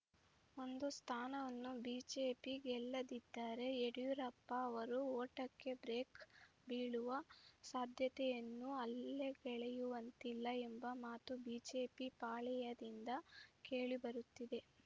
ಒಂದು ಸ್ಥಾನವನ್ನೂ ಬಿಜೆಪಿ ಗೆಲ್ಲದಿದ್ದರೆ ಯಡಿಯೂರಪ್ಪ ಅವರ ಓಟಕ್ಕೆ ಬ್ರೇಕ್‌ ಬೀಳುವ ಸಾಧ್ಯತೆಯನ್ನೂ ಅಲ್ಲಗಳೆಯುವಂತಿಲ್ಲ ಎಂಬ ಮಾತು ಬಿಜೆಪಿ ಪಾಳೆಯದಿಂದ ಕೇಳಿಬರುತ್ತಿದೆ